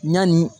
Ɲani